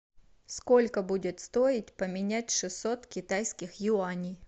сколько будет стоить поменять шестьсот китайских юаней